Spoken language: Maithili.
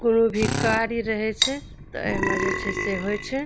कूनू भी कार्य रहे छै ते एमे जे छै से होए छै।